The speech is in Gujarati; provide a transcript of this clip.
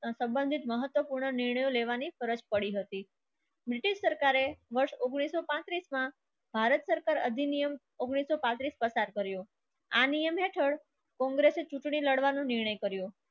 સંબંધિત મહત્વપૂર્ણ નિર્ણયો લેવાની ફરજ પડી હતી ઉંગ્નીસ સો પાંત્રીસ માં ભારત સરકાર અધિનિયમ ગ્નીસ સો પાંત્રીસ કર્યો. આ નિયમ હેઠળ કોંગ્રેસની ચૂંટણી લડવાનું નિર્ણય કર્યો.